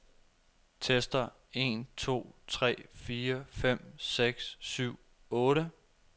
Tester en to tre fire fem seks syv otte.